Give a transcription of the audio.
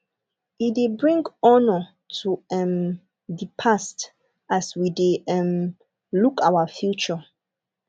e de bring honor to um the past as we de um look our future